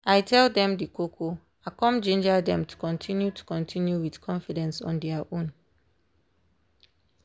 i tell them the koko i come ginger them to continue to continue with confidence on dia own.